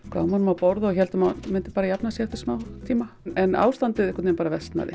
gáfum honum að borða og héldum að myndi bara jafna sig eftir smá tíma